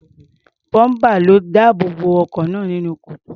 Bọ́ḿpà ló dáàbò bo ọkọ̀ náà nínú kòtò.